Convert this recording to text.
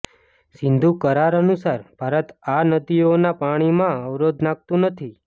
સિંધુ કરાર અનુસાર ભારત આ નદીઓના પાણીમાં અવરોધ નાખતું નથી